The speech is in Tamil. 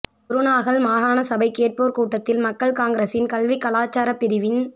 குருநாகல் மாகாணசபை கேட்போர் கூடத்தில் மக்கள் காங்கிரசின் கல்விக் கலாச்சாரப் பிரிவின்